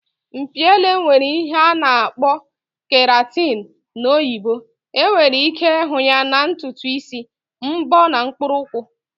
Mpi ele nwere ihe a na-akpọ keratin na oyibo. Enwere ike ịhụ ya na ntutu isi, mbọ na mkpụrụ ukwu